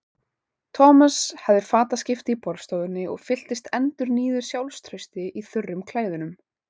Thomas hafði fataskipti í borðstofunni og fylltist endurnýjuðu sjálfstrausti í þurrum klæðunum.